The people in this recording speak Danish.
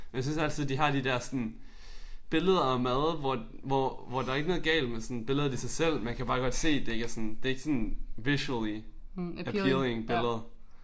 Men jeg synes altid de har de der sådan billeder af mad hvor hvor hvor der er ikke galt med sådan billedet i sig selv man kan bare godt se det ikke sådan det ikke sådan visually appealing billedet